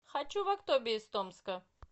хочу в актобе из томска